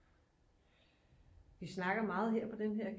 Vi snakker meget her på denne her